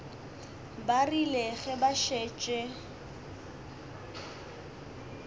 ba rile ge ba šetše